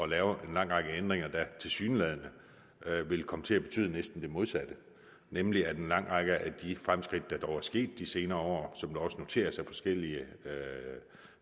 lave en lang række ændringer der tilsyneladende vil komme til at betyde næsten det modsatte nemlig at en lang række af de fremskridt der dog er sket i de senere år som det også noteres af forskellige